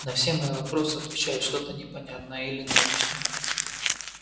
на все мои вопросы отвечает что-то непонятное или научное